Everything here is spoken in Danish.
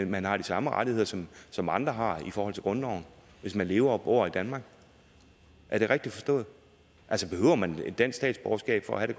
man har de samme rettigheder som som andre har i forhold til grundloven hvis man lever og bor i danmark er det rigtigt forstået altså behøver man et dansk statsborgerskab for at